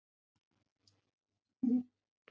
Ingveldur Geirsdóttir: Finnst þér veðrið dásamlegt?